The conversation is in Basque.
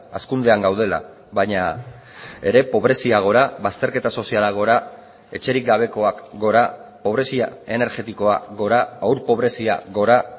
hazkundean gaudela baina ere pobrezia gora bazterketa soziala gora etxerik gabekoak gora pobrezia energetikoa gora haur pobrezia gora